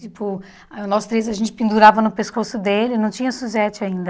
Tipo, nós três, a gente pendurava no pescoço dele e não tinha Suzete ainda.